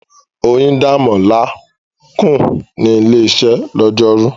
Oyindamola kùn ní ilé-iṣẹ́ lọ́jọ́rú.